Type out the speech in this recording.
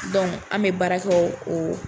an bɛ baara kɛ o